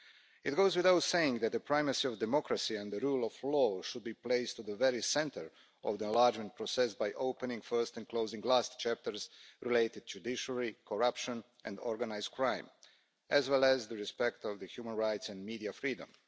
It goes without saying that the primacy of democracy and the rule of law should be placed at the very centre of the enlargement process by opening first and closing last chapters related to the judiciary, corruption and organised crime, as well as respect for human rights and media freedom.